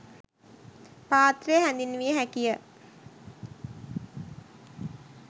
පාත්‍රය හැඳින්විය හැකිය.